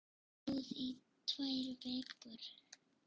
Hún stóð í tvær vikur.